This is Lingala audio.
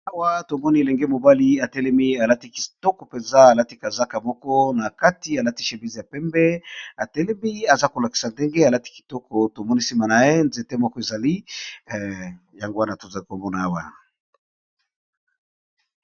Awa to moni elenge mobali a telemi al ati kitoko penza, a lati kazaka moko na kati a lati chemise ya pembe, a telemi aza ko lakisa ndenge a lati kitoko . To moni sima na ye, nzete moko ezali yango wana tozai ko mona awa .